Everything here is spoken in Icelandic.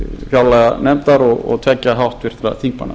fjárlaganefndar og tveggja háttvirtra þingmanna